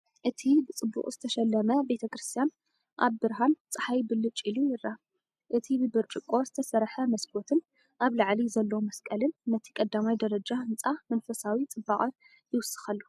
እቲ ብጽቡቕ ዝተሸለመ ቤተክርስትያን ኣብ ብርሃን ጸሓይ ብልጭ ኢሉ ይረአ። እቲ ብብርጭቆ ዝተሰርሐ መስኮትን ኣብ ላዕሊ ዘሎ መስቀልን ነቲ ቀዳማይ ደረጃ ህንጻ መንፈሳዊ ጽባቐ ይውስኸሉ።